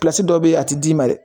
dɔ be yen a ti d'i ma dɛ